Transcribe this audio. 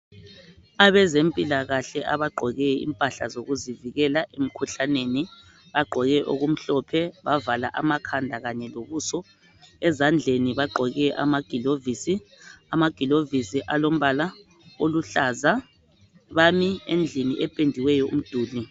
Abezempilakahle abagqoke impahla zokuzivikela emkhuhlaneni bagqoke okumhlophe bavala amakhanda kanye lobuso. Ezandleni bagqoke amagilovisi. Amagilovisi alombala oluhlaza. Bami endlini ependiweyo umduli.